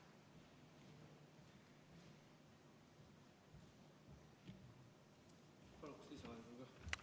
Palun lisaaega ka!